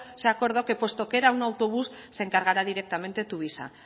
se acordó que puesto que era un autobús se encargará directamente tuvisa